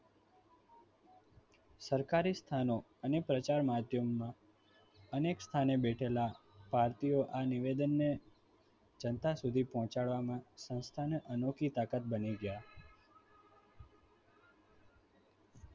સરકારી સ્થાનનો અને પ્રચાર માધ્યમમાં અનેક સ્થાને બેઠેલા ભારતીય આ નિવેદનને જનતા સુધી પહોંચાડવામાં લોકોની અનોખી તાકાત બની ગયા.